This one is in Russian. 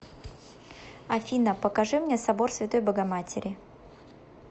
афина покажи мне собор святой богоматери